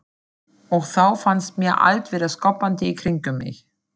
Og þá fannst mér allt vera skoppandi í kringum mig.